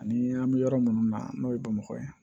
Ani an bɛ yɔrɔ minnu na n'o ye bamakɔ ye